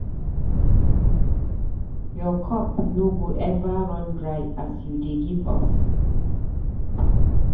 Your cup no go eva run dry as you dey give us.